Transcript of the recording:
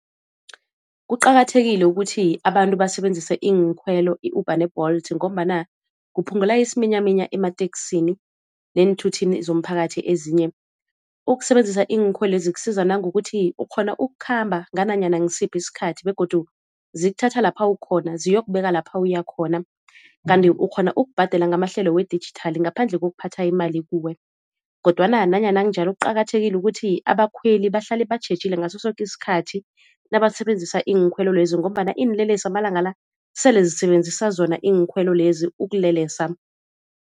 Kuqakathekile ukuthi abantu basebenzise iinkhwelo i-Uber ne-Bolt ngombana kuphungula isiminyaminya emateksini neenthuthini zomphakathi ezinye. Ukusebenzisa iinkhwelo lezi kusiza nangokuthi ukghona ukukhamba ngananyana ngisiphi isikhathi begodu zikuthatha lapha ukhona ziyokubeka lapha uyakhona. Kanti ukghona ukubhadela ngamahlelo we-digital ngaphandle kokuphatha imali kuwe, kodwana nanyana kunjalo kuqakathekile ukuthi abakhweli bahlale batjhejile ngaso soke isikhathi nabasebenzisa iinkhwelo lezi, ngombana iinlelesi amalanga la sele zisebenzisa zona iinkhwelo lezi ukulelesa.